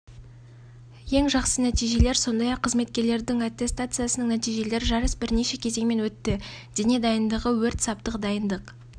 бұл жыл бойғы қызметтік істі бағалау және де гарнизонда жыл сайынғы жартыжылдық пен жылдық сынақтарда көрсетілген тек